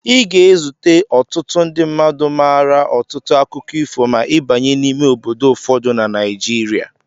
Ị ga-ezute ọtụtụ ndị mmadu maara ọtụtụ akụkọ ifo ma ị banye n'ime obodo ụfọdụ na Naijiria.